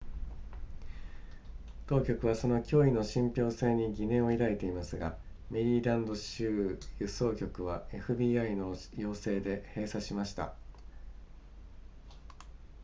当局はその脅威の信憑性に疑念を抱いていますがメリーランド州輸送局は fbi の要請で閉鎖しました